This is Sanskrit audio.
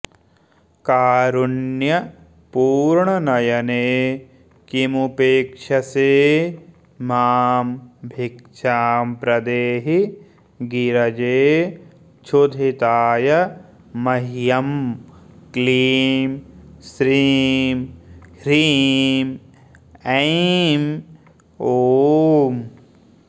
कारुण्यपूर्णनयने किमुपेक्षसे मां भिक्षां प्रदेहि गिरजे क्षुधिताय मह्यं क्लीं श्रीं ह्रीं ऐं ॐ